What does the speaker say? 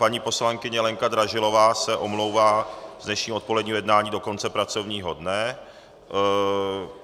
Paní poslankyně Lenka Dražilová se omlouvá z dnešního odpoledního jednání do konce pracovního dne.